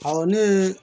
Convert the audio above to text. ne ye